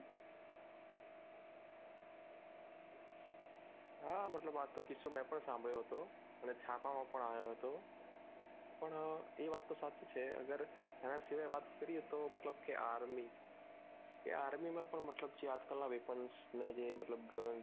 હા મતલબ આ કિસ્સો મેં પણ સાભલ્યો હતો અને છાપામાં પણ આવ્યો હતો પણ એ વાત તો સાચી છે અગર એના સિવાય વાત કરીએ તો મતલબ કે army કે army માં મતલબ જે આજકાલ ના મેં જે મતલબ